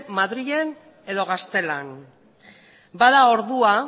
madrilen edo gaztelan bada ordua